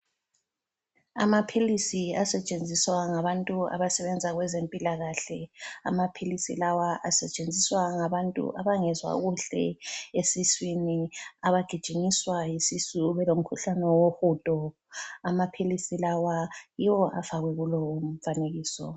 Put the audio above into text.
Amaphilisi asetshenziswa ngabantu abasebenza kwezempilakahle, amaphilisi lawa asetshenziswa ngantu abangezwa kuhle esiswini abagijinyiswa yisisu belomkhulane wohudo, amaphilisi lawa yiwo afakwe kulowu mfanekiso.